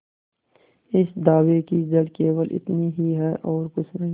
इस दावे की जड़ केवल इतनी ही है और कुछ नहीं